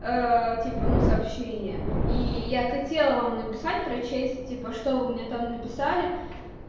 типа но сообщение и я хотела вам написать прочесть типа что у меня там написали